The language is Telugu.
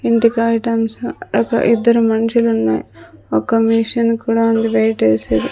ఇంటికి ఐటమ్స్ ఒక ఇద్దరు మనుషులు ఉన్నాయి ఒక మెషిన్ కూడా ఉంది వెయిట్ ఎసేది.